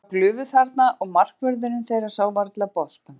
Ég sá glufu þarna og markvörðurinn þeirra sá varla boltann.